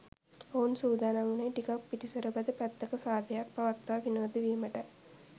ඔවුන් සූදානම් වුනේ ටිකක් පිටිසරබද පැත්තක සාදයක් පවත්වා විනෝද විමටයි